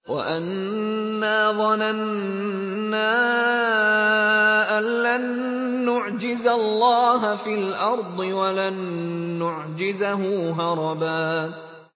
وَأَنَّا ظَنَنَّا أَن لَّن نُّعْجِزَ اللَّهَ فِي الْأَرْضِ وَلَن نُّعْجِزَهُ هَرَبًا